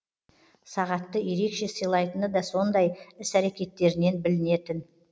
сағатты ерекше сыйлайтыны да сондай іс әрекеттерінен білінетін